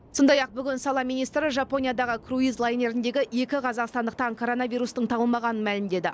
сондай ақ бүгін сала министрі жапониядағы круиз лайнеріндегі екі қазақстандықтан коронавирустың табылмағанын мәлімдеді